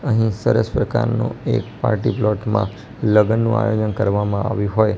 અહીં સરસ પ્રકારનું એક પાર્ટી પ્લોટ માં લગનનો આયોજન કરવામાં આવ્યું હોય --